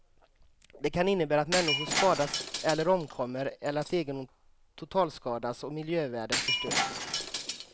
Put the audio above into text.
Det kan innebära att människor skadas eller omkommer eller att egendom totalskadas och miljövärden förstörs.